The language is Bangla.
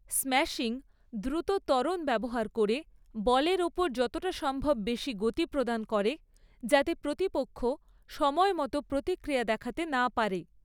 স্ম্যাশিং দ্রুত ত্বরণ ব্যবহার করে বলের ওপর যতটা সম্ভব বেশি গতি প্রদান করে যাতে প্রতিপক্ষ সময়মতো প্রতিক্রিয়া দেখাতে না পারে।